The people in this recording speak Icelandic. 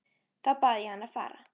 Þá bað ég hann að fara.